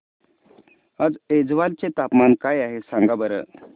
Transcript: आज ऐझवाल चे तापमान काय आहे सांगा बरं